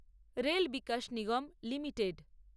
rail Vikas Nigam limited